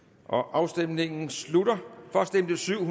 afstemningen slutter for stemte syv